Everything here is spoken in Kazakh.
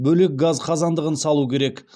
бөлек газ қазандығын салу керек